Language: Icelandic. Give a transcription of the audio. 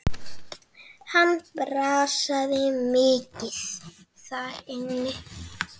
Hann brasaði mikið þar inni.